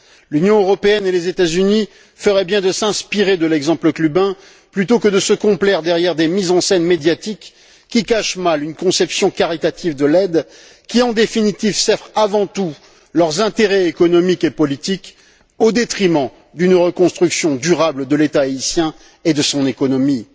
L'Union européenne et les États Unis feraient bien de s'inspirer de l'exemple cubain plutôt que de se complaire derrière des mises en scène médiatiques qui cachent mal une conception caritative de l'aide qui, en définitive, sert avant tout leurs intérêts économiques et politiques au détriment d'une reconstruction durable de l'État haïtien et de son économie.